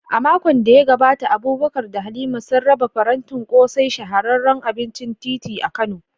A makon da ya gabata, Abubakar da Halima sun raba farantin ƙosai, shahararren abincin titi a Kano.